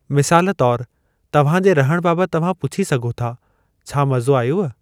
मिसालु तौर, तव्हां जे रहण बाबति तव्हां पुछी सघो था, छा मज़ो आयव?